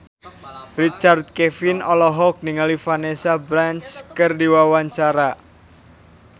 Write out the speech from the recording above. Richard Kevin olohok ningali Vanessa Branch keur diwawancara